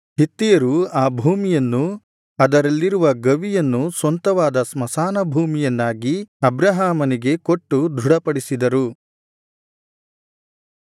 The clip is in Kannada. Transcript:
ಹಿತ್ತಿಯರು ಆ ಭೂಮಿಯನ್ನೂ ಅದರಲ್ಲಿರುವ ಗವಿಯನ್ನೂ ಸ್ವಂತವಾದ ಸ್ಮಶಾನ ಭೂಮಿಯನ್ನಾಗಿ ಅಬ್ರಹಾಮನಿಗೆ ಕೊಟ್ಟು ದೃಢಪಡಿಸಿದರು